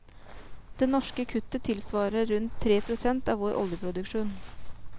Det norske kuttet tilsvarer rundt tre prosent av vår oljeproduksjon.